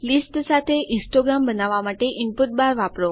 list સાથે histogram બનાવવા માટે ઇનપુટ બાર વાપરો